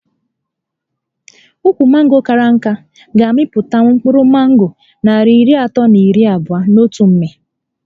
Ukwu mango kara nká ga -amịtanwu mkpụrụ mango narị iri atọ na iri abụo n'otu mmị